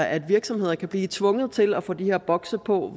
at virksomheder kan blive tvunget til at få de her bokse på